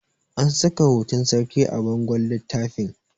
an saka hoton sarki a bangon littafin